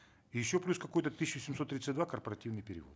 и еще плюс какой то тысячу семьсот тридцать два корпоративный перевод